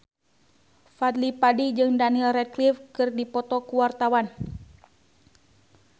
Fadly Padi jeung Daniel Radcliffe keur dipoto ku wartawan